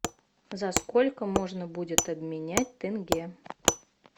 за сколько можно будет обменять тенге